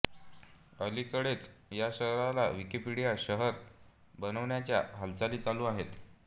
अलीकडेच या शहराला विकिपीडिया शहर बनवण्याच्या हालचाली चालू आहेत